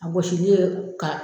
A gɔsilen ka